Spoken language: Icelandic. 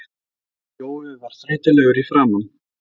Jói var þreytulegur í framan.